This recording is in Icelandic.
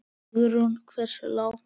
Hugrún: Hversu, hversu langt?